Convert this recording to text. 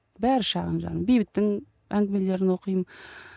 бәрі шағын жанр бейбіттің әңгімелерін оқимын